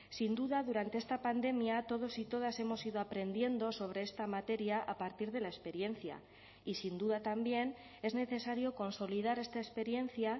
sin duda durante esta pandemia todos y todas hemos ido aprendiendo sobre esta materia a partir de la experiencia y sin duda también es necesario consolidar esta experiencia